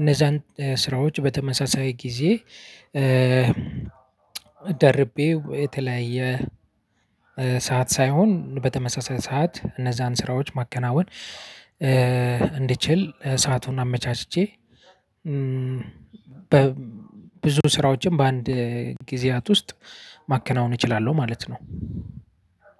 እነዛን ስራዎች በተመሳሳይ ጊዜ ደርቤ የተለያየ ሰዓት ሳይሆን በተመሳሳይ ሰዓት እነዛን ስራዎች ማከናወን እንድችል ሰአቱን አመቻችቼ በብዙ ስራዎችም በአንድ ጊዜያት ውስጥ ማከናወን እችላለሁ ማለት ነው።